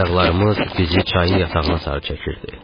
Ayaqlarımız bizi çayın yatağına sarı çəkirdi.